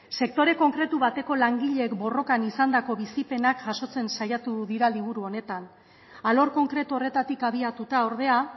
sektore konkretu bateko langileek borrokan izandako bizipenak jasotzen saiatu dira liburu honetan alor konkretu horretatik abiatuta ordea